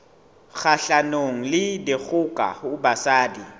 kgahlanong le dikgoka ho basadi